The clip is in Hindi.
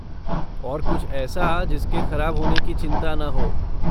और कुछ ऐसा जिसके ख़राब होने की चिंता ना हो!